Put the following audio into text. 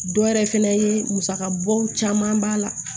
Dɔ wɛrɛ fɛnɛ ye musakabɔw caman b'a la